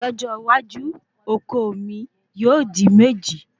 lójó iwájú oko mi yóò di méjì